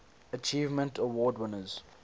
achievement award winners